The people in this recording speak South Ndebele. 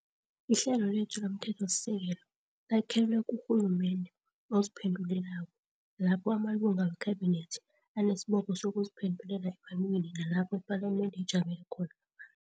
Ihlelo lethu lomthethosisekelo lakhelwe kurhulumende oziphendulelako, lapho amalunga weKhabinethi anesibopho sokuziphendulela ebantwini nalapho iPalamende ijamele khona abantu.